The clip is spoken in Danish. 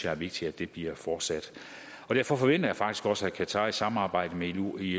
er vigtigt at det bliver fortsat derfor forventer jeg faktisk også at qatar vil samarbejde med ilo i